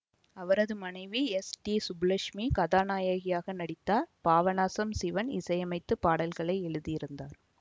அவரது மனைவி S D Subbulakshmi கதாநாயகியாக நடித்தார் பாபநாசம் சிவன் இசையமைத்து பாடல்களை எழுதியிருந்தார்